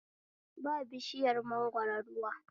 Ba bishiyar mangoro ruwa